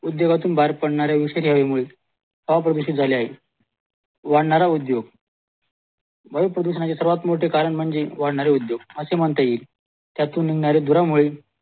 उद्योगातून बाहेर पडनाऱ्या विषारी हवेमुळे हवा प्रदूषित झाली आहे वाढणारा उद्योग वायू प्रदूषणाच्या सर्वात मोठे कारण म्हणजे उद्योग असे म्हणता येईल त्यातून धुरामुळे